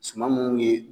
Suman munnu ye